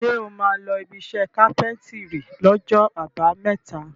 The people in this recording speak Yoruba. Ṣé o máa lọ ibiṣẹ́ kápẹ́ńtírì lọ́jọ́ àbámẹ́ta?